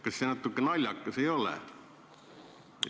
Kas see natuke naljakas ei ole?